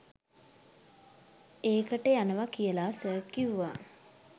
ඒකට යනවා කියලා සර් කිව්වා.